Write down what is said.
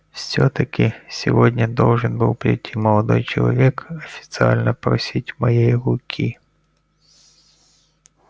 всё-таки сегодня должен был прийти молодой человек официально просить моей руки